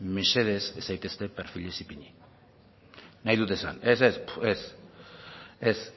mesedez ez zaitezte perfilez ipini nahi dut esan